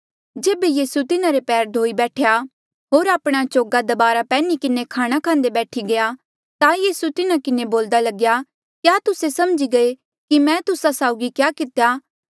जेबे यीसू तिन्हारे पैर धोई बैठया होर आपणे चोगा दबारा पैन्ही किन्हें खाणा खांदे बैठी गया ता यीसू तिन्हा किन्हें बोल्दा लग्या क्या तुस्से समझी गये कि मैं तुस्सा साउगी क्या कितेया